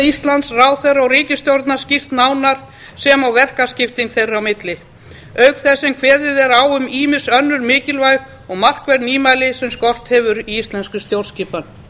íslands ráðherra og ríkisstjórnar skýrt nánar sem og verkaskipting þeirra á milli auk þess er kveðið á um ýmis önnur mikilvæg og markverð nýmæli sem skort hefur á í íslenskri stjórnskipan